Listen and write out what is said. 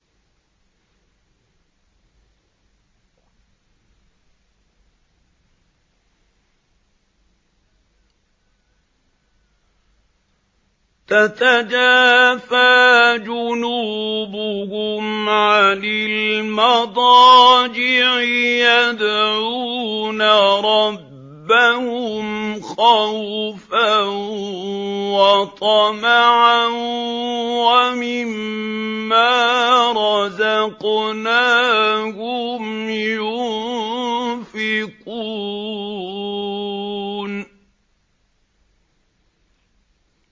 تَتَجَافَىٰ جُنُوبُهُمْ عَنِ الْمَضَاجِعِ يَدْعُونَ رَبَّهُمْ خَوْفًا وَطَمَعًا وَمِمَّا رَزَقْنَاهُمْ يُنفِقُونَ